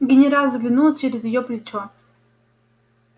генерал заглянул через её плечо